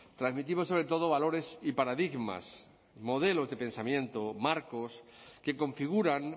transmitimos sobretodo valores y paradigmas modelos de pensamiento marcos que configuran